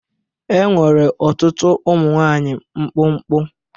Enwere ọtụtụ ụmụ nwanyị mkpụmkpụ.